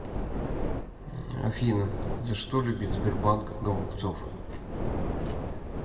афина за что любит сбербанк голубцов